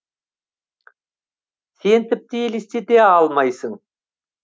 сен тіпті елестете алмайсың